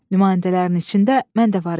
Nümayəndələrin içində mən də var idim.